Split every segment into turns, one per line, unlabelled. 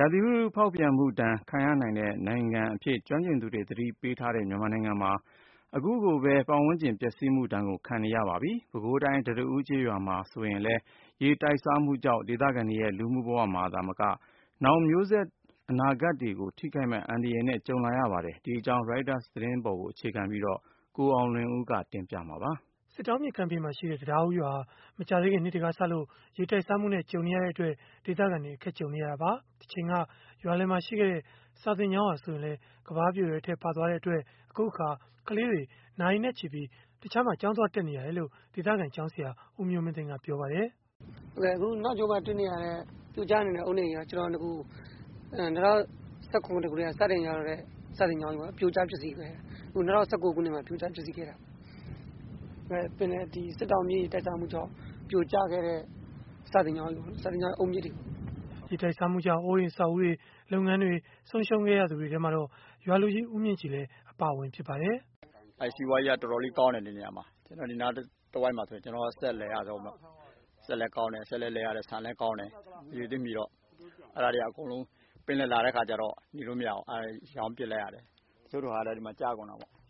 ရာသီဥတု ဖောက်ပြန်မှုဒဏ် ခံရနိုင်တဲ့ နိုင်ငံအဖြစ် ကျွမ်းကျင်သူတွေ သတိပေးထားတဲ့ မြန်မာနိုင်ငံမှာ အခုကိုပဲ ပတ်ဝန်းကျင် ပျက်စီးမှုဒဏ် ခံနေကြရပါပြီ။ ပဲခူးတိုင်း တံတားဦးကျေးရွာမှာ ဆိုရင်လည်း ရေတိုက်စားမှုကြောင့် ဒေသခံတွေရဲ့ လူမှုဘဝမှာ သာမက နောင်မျိုးဆက်တွေ အနာဂတ်ကို ထိခိုက်မယ့် အန္တရာယ်နဲ့ ကြုံနေရတာပါ။ ဒီအကြောင်း Reuters သတင်းဆောင်းပါးကိုတော့ ကိုအောင်လွင်ဦးက ပြောပြပေးမှာ ဖြစ်ပါတယ်။
စစ်တောင်းမြစ်ကမ်းဘေးမှာရှိတဲ့ တံတားဦးရွာဟာ မကြာသေးခင်နှစ်တွေကစလို့ ရေတိုက်စားမှုနဲ့ ကြုံနေရတဲ့အတွက် ဒေသခံတွေ အခက်ကြုံနေရတာပါ။ တချိန်က ရွာလည်မှာရှိခဲ့တဲ့ စာသင်ကျောင်းဟာ ဆိုရင်လည်း ကမ်းပါးပြိုတဲ့အထဲ ပါသွားတဲ့အတွက် အခုအခါ ကလေးတွေဟာ နာရီနဲ့ချီပြီး တခြားမှာ ကျောင်းသွားတက်နေရတဲ့အကြောင်း ဒေသခံ ကျောင်းဆရာ ဦးမျိုးမင်းသိန်း ကပြောပြပါတယ်
။ “အခု နောက်မှာတွေ့နေရတဲ့ ပြိုကျနေတဲ့ အုတ်နံရံက ကျနော်တို့ စာသင်ကျောင်းကြီး ပြိုကျ ပျက်စီးခဲ့တယ်။ အခု ၂၀၁၉ ခုနှစ်မှာ ပြိုကျ ပျက်စီးခဲ့တာပါ။ စစ်တောင်းမြစ်ရေ တိုက်စားမှုကြောင့် ပြိုကျ ခဲ့တဲ့ စာသင်ကျောင်းကြီးပေါ့နော် ။ ဒါက စာသင်ကျောင်း အုတ်မြစ်တွေ
။” ရေတိုက်စားမှုကြောင့် အိုးအိမ်အဆောက်အဦးတွေ၊ လုပ်ငန်းတွေ ဆုံးရှုံးခဲ့ရသူတွေထဲမှာတော့ ရွာလူကြီး ဦးမြင့်ကြည်လည်း အပါအဝင် ဖြစ်ပါတယ်
။ “စီးပွားရေးက တော်တော်လေးကောင်းခဲ့တယ် ဒီနေရာတဝိုက်မှာ ဆိုရင် ကျနေ်ာ့စက် က အရဆုံးပေ့ါ။ စက်လည်း လည်ရတယ် ဆန်လည်းကောင်းတယ်။ အဲဒါတွေက အကုန်လုံး ပင်လယ်လာတဲ့အခါကျတော့ နေလို့မရဘူး ရောင်းပစ်လိုက်ရတယ်။”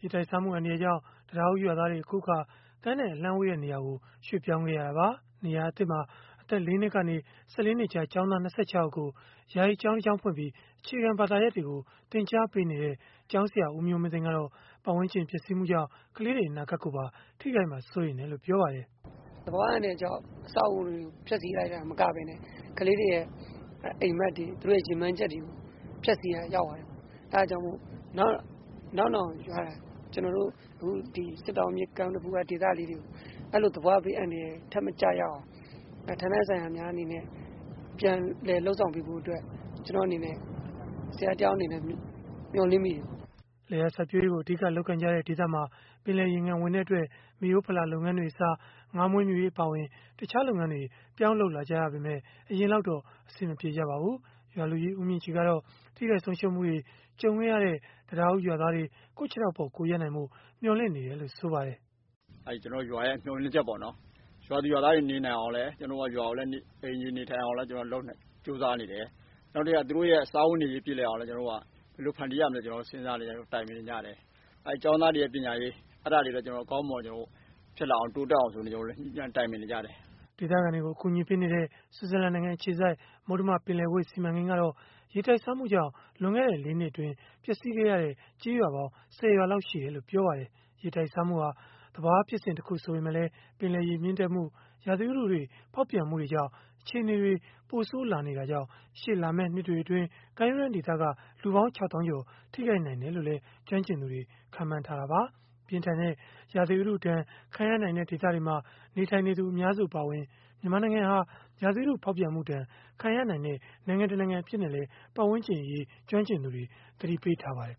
ရေတိုက်စားမှု အန္တရာယ်ကြောင့် တံတားဦးရွာသားတွေ အခုအခါ ကမ်းနဲ့ အလှမ်းဝေးတဲ့ နေရာကို ရွှေ့ပြောင်းခဲ့ရတာပါ။ နေရာသစ်မှာ အသက် ၄ နှစ်ကနေ ၁၄ နှစ်ကြား ကျောင်းသား ၂၆ ယောက်ကို ယာယီကျောင်းဖွင့်ပြီး အခြေခံဘာသာရပ်တွေကို သင်ကြားပေးနေတဲ့ ကျောင်းဆရာ ဦးမျိုးမင်းသိန်း ကတော့ ပတ်ဝန်းကျင် ပျက်စီးမှုကြောင့် ကလေးတွေ အနာဂတ်ကိုပါ ထိခိုက်မှာ စိုးရိမ်တယ်လို့ ပြောပါတယ်
။ “သဘာဝဘေးအန္တရာယ်ကြောင့် အဆောက်အအုံတွေကို ဖျက်ဆီးလိုက်တာ မကပဲနဲ့ ကလေးတွေရဲ့ အိမ်မက်တွေ သူတို့ ရည်မှန်းချက်တွေကို ဖျက်ဆီးရာ ရောက်သွားတယ်ပေါ့။ အဲဒါကြောင့်မို့ နောက်နောင် ကျနော်တို့ စစ်တောင်းမြစ် ကမ်းက ဒေသလေးတွေကို အဲလို သဘာဝဘေးအန္တရာယ်ထပ်မကျရအောင် ဌာနဆိုင်ရာများအနေနဲ့ ပြန်လည်လုပ်ဆောင်ပေးဖို့ ကျနော် ဆရာတယောက်အနေနဲ့ မျှော်လင့်မိတယ
်ပေါ့နော်။” လယ်ယာစိုက်ပျိုးရေးကို အဓိကလုပ်ကိုင်ကြတဲ့ ဒေသမှာ ပင်လယ်ရေငံ ဝင်တဲ့အတွက် မိရိုးဖလာလုပ်ငန်းတွေအစား ငါးမွေးမြူရေး အပါအဝင် တခြားလုပ်ငန်းတွေ ပြောင်းလုပ်လာကြရပေမဲ့ အရင်လောက်တော့ အဆင်မပြေကြပါဘူး။ ရွာလူကြီး ဦးမြင့်ကြည်ကတော့ ထိခိုက်ဆုံးရှုံးမှုတွေ ကြုံခဲ့ရတဲ့ တံတားဦးရွာသားတွေ ကိုယ့်ခြေထောက်ပေါ် ကိုယ်ရပ်နိုင်ဖို့ မျှော်လင့်နေတယ်လို့ ဆိုပါတယ်
။ “ကျနော်ရွာမျှော်လင့်ချက်ပေါ့နော် ရွာသူရွာသားတွေလည်းနေနိုင်အောင် ကျနော်တို့ ကြိုးစားနေတယ်။ နောက်ပြီးတော့ သူတို့စားဝတ်နေရေးပြေလည်အောင် ဘယ်လိုဖန်တီးရမလဲဆိုတာ ကျနော်တို့ စဉ်းစား တိုင်ပင်နေကြတယ်။ ကျောင်းသားတွေရဲ့ ပညာရေး အဲဒါတွေကိုလည်း ကျနော်တို့ ဖြစ်လာအောင် တိုးတက်လာအောင် ကျနော်တို့ ညှိနှိုင်းတိုင်ပင်နေကြတယ်။
” ဒေသခံတွေကို အကူအညီပေးနေတဲ့ ဆွစ်ဇာလန်နိုင်ငံ အခြေစိုက် မုတ္တမပင်လယ်ကွေ့ စီမံကိန်းကတော့ ရေတိုက်စားမှုကြောင့် လွန်ခဲ့တဲ့ ၄ နှစ်အတွင်း ပျက်စီးခဲ့ရတဲ့ ကျေးရွာပေါင်း ၁၀ ရွာလောက်ရှိတယ်လို့ ပြောပါတယ်။ ရေတိုက်စားမှုဟာ သဘာဝဖြစ်စဉ်တခု ဆိုပေမဲ့လည်း ပင်လယ်ရေ မြင့်တက်မှု၊ ရာသီဥတုတွေ ဖောက်ပြန်မှုတွေကြောင့် အခြေအနေတွေ ပိုဆိုးလာနေတာကြောင့် ရှေ့လာမယ့် နှစ်တွေအတွင်း ကမ်းရိုးတန်းဒေသက လူပေါင်း ၆ သောင်းကျော်ကို ထိခိုက်နိုင်တယ်လို့လည်း ကျွမ်းကျင်သူတွေ ခန့်မှန်းထားကြတာပါ။ ပြင်းထန်တဲ့ ရာသီဥတုဒဏ်ခံရနိုင်တဲ့ ဒေသတွေမှာ နေထိုင်သူ အများစုအပါအဝင် မြန်မာနိုင်ငံဟာ ရာသီဥတု ဖောက်ပြန်မှုဒဏ် ခံရနိုင်တဲ့ နိုင်ငံတနိုင်ငံ အဖြစ်နဲ့လည်း ပတ်ဝန်းကျင်အရေး ကျွမ်းကျင်သူတွေ သတိပေးထားပါတယ်